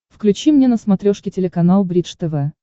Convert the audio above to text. включи мне на смотрешке телеканал бридж тв